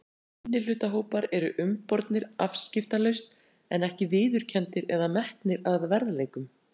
Minnihlutahópar eru umbornir afskiptalaust en ekki viðurkenndir eða metnir að verðleikum.